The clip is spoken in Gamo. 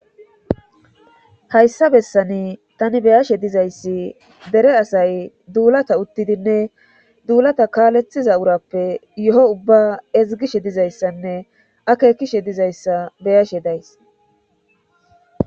hayssa bessani tani beyashe dizayssi dere asay duulata uttidinne duulata kaalethiza urappe yo7o ubba ezgishe dizayssanne akekishe dizayssa beyashe days